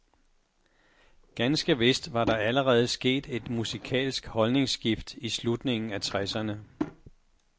Ganske vist var der allerede sket et musikalsk holdningsskift i slutningen af tresserne.